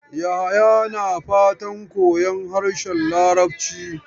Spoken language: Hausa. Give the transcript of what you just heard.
Yahaya na fatan koyon harshen Larabci.